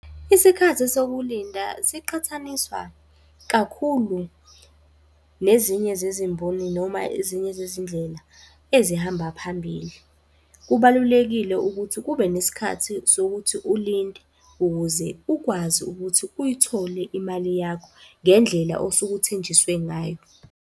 Isikhathi sokulinda siqhathaniswa kakhulu nezinye zezimboni noma ezinye zezindlela ezihamba phambili. Kubalulekile ukuthi kube nesikhathi sokuthi ulinde, ukuze ukwazi ukuthi uyithole imali yakho ngendlela osuke uthenjiswe ngayo.